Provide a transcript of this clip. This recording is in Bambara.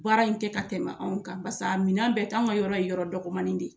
Baara in tɛ ka tɛmɛ anw kan basi a minɛ bɛ tɛ yan, anw ka yɔrɔ in yɔrɔ dɔgɔmanin de ye.